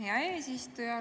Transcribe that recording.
Hea eesistuja!